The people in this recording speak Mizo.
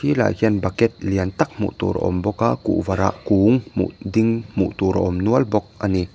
tlaiah hian baket lian tak hmuh tur a awm bawk a kuvarah kung hmuh ding hmuh tur a awm nual bawk a ni.